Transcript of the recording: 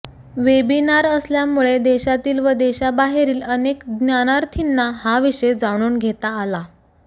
webinar असल्यामुळे देशातील व देशाबाहेरील अनेक ज्ञानार्थीना हा विषय जाणून घेता आला